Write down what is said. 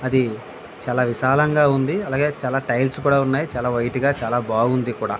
అది చాలా విశాలంగా ఉంది అలాగే చాలా టైల్స్ కూడా ఉన్నాయ్ చాలా వైట్ గా చాలా బాగుంది కూడా --